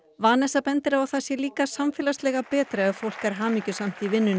Vanessa bendir á að það sé líka samfélagslega betra ef fólk er hamingjusamt í vinnunni